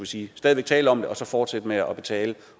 sige stadig væk tale om det og så fortsætte med at betale